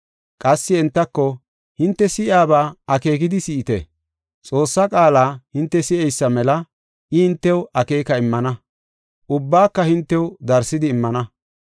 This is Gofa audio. Qassi entako, “Hinte si7iyaba akeekidi si7ite! Xoossaa qaala hinte si7eysa mela I hintew akeeka immana. Ubbaka hintew darsidi immana.